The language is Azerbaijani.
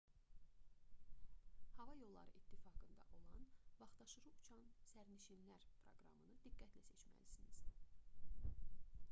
hava yolları i̇ttifaqında olan vaxtaşırı uçan sərnişinlər proqramını diqqətli seçməlisiniz